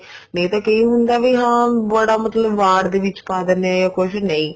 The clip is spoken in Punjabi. ਨਹੀਂ ਤਾਂ ਹੁੰਦਾ ਵੀ ਹਾਂ ਬੜਾ ਮਤਲਬ ਵਾਰਡ ਦੇ ਵਿੱਚ ਪਾ ਦਿੰਨੇ ਆ